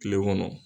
Kile kɔnɔ